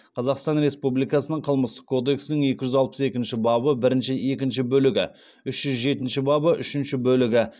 қазақстан республикасының қылмыстық кодексінің екі жүз алпыс екінші бабы бірінші екінші бөлігі үш жүз жетінші бабы үшінші бөлігі